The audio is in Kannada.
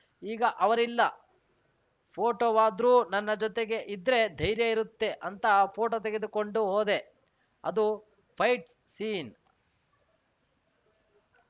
ಈಗ ಅವರಿಲ್ಲ ಫೋಟೋವಾದ್ರು ನನ್ನ ಜತೆಗೆ ಇದ್ರೆ ಧೈರ್ಯ ಇರುತ್ತೆ ಅಂತ ಪೋಟೋ ತೆಗೆದುಕೊಂಡು ಹೋದೆ ಅದು ಫೈಟ್ಸ್‌ ಸೀನ್‌